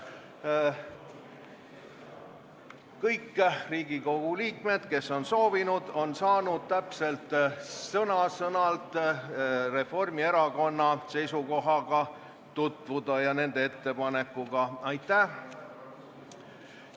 Kõik Riigikogu liikmed, kes on soovinud, on saanud sõna-sõnalt Reformierakonna seisukoha ja ettepanekuga tutvuda.